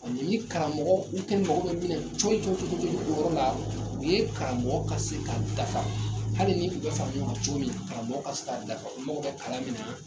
Ɔ ni karamɔgɔ u kɛni mago bɛ min na cɔyi cɔyi cɔyi cɔyi o yɔrɔ la u ye karamɔgɔ ka se ka dafa hali ni u bɛ fara ɲɔgɔn kan cogo min karamɔgɔ ka se dafa u mago bɛ kalan min na